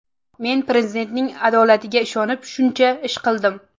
Men Prezidentning adolatiga ishonib shuncha ish qildim.